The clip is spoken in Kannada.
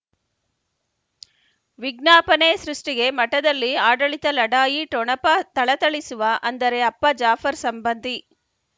ವಿಜ್ಞಾಪನೆ ಸೃಷ್ಟಿಗೆ ಮಠದಲ್ಲಿ ಆಡಳಿತ ಲಢಾಯಿ ಠೊಣಪ ಥಳಥಳಿಸುವ ಅಂದರೆ ಅಪ್ಪ ಜಾಫರ್ ಸಂಬಂಧಿ